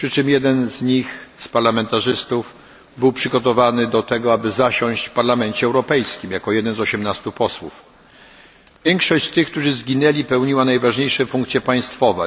Jeden z tych parlamentarzystów przygotowany był już na to, aby zasiąść w Parlamencie Europejskim, jako jeden z 18 posłów. Większość tych, którzy zginęli pełniła najważniejsze funkcje państwowe.